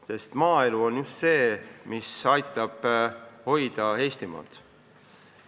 Just maaelu on see, mis aitab hoida Eestimaad.